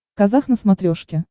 казах на смотрешке